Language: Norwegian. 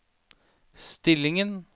stillingen